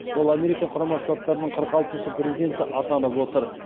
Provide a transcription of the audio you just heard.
ол америка құрама штаттарының қырық алтыншы президенті атанып отыр